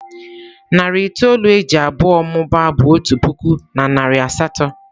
Narị itoolu e ji abụọ mụbaa bụ otu puku na narị asatọ.